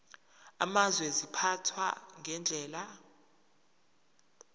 amazwe ziphathwa ngendlela